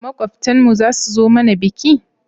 Makwabtan mu zasu zo mana biki?